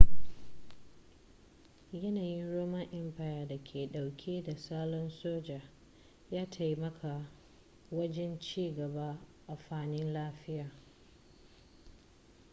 yanayin roman empire da ke dauke da salon soja ya taimaka wajen ci gaba a fanni lafiya